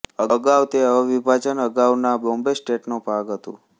અગાઉ તે અવિભાજન અગાઉના બોમ્બે સ્ટેટનો ભાગ હતું